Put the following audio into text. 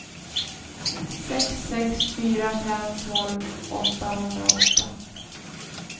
sex sex fyra fem tolv åttahundraåtta